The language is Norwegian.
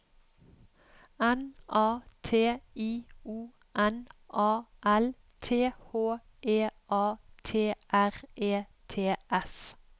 N A T I O N A L T H E A T R E T S